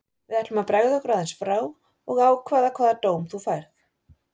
Við ætlum að bregða okkur aðeins frá og ákveða hvaða dóm þú færð.